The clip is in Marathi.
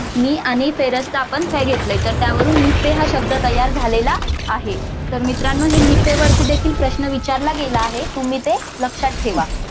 नि आणि फेरस मधून आपण काय घेतलय तर त्यावरून निफे हा शब्द तयार झालेला आहे तर मित्रानो ह्या निफेवरती देखील प्रश्न विचारला गेला आहे तुम्ही ते लक्ष्यात ठेवा.